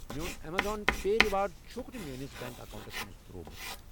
میون اَمیزن پے ریوارڑ چھُکھ نہٕ میٲنِس بینک اکاونٹَس منٛز ترٛوومُت۔